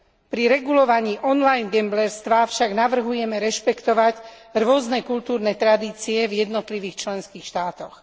Pri regulovaní online gamblerstva však navrhujeme rešpektovať rôzne kultúrne tradície v jednotlivých členských štátoch.